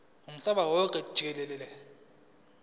womhlaba wonke jikelele